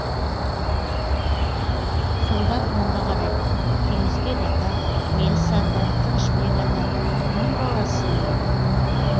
солдан оңға қарай кеңесбек ата меліс ата тынышбек ата кімнің баласысың дейді